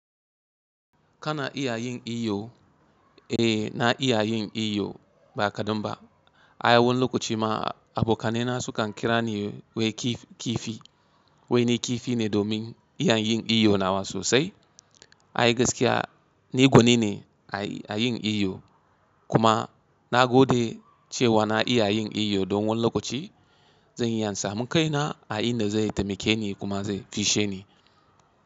Kana iya yin iyo? Eh, na iya yin iyo ba kadan ba. Ai, wani lokaci ma abokanai na su kan kira ni wai kifi. Wai ni kifi ne domin iya yin iyo nawa sosai. Ai gaskiya ni gwanine a, a yin iyo. Kuma na gode cewa na iya yin iyo don wani lokaci zan iya samun kaina a inda zai taimake ni kuma zai fisshe ni.